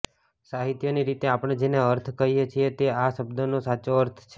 સાહિત્યની રીતે આપણે જેને અર્થ કહીએ છીએ તે આ શબ્દનો સાચો અર્થ છે